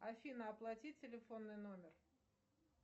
афина оплати телефонный номер